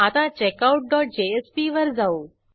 आता checkout dot JSP वर जाऊ